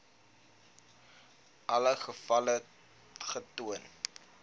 alle gevalle getoon